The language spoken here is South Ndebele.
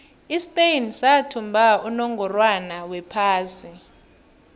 ispain sathumba unongorwond wephasi